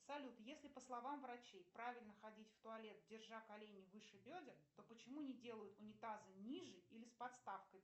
салют если по словам врачей правильно ходить в туалет держа колени выше бедер то почему не делают унитазы ниже или с подставкой